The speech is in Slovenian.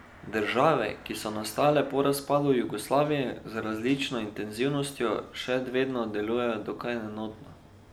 Države, ki so nastale po razpadu Jugoslavije, z različno intenzivnostjo še vedno delujejo dokaj enotno.